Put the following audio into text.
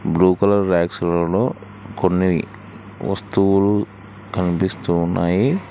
Blue colour వ్యాక్సులలో కొన్ని వస్తువులు కనిపిస్తున్నాయి.